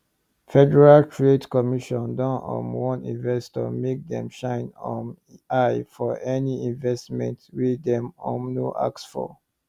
federal trade commission don um warn investors make dem shine um eye for any investment wey dem um no ask for